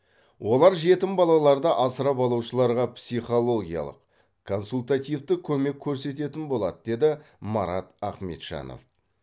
олар жетім балаларды асырап алушыларға психологиялық консультативтік көмек көрсететін болады деді марат ахметжанов